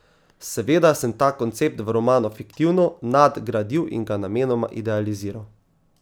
Seveda sem ta koncept v romanu fiktivno nadgradil in ga namenoma idealiziral.